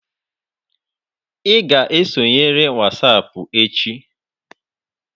Ị ga-esonyere WhatsApp echi.